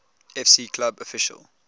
fc club official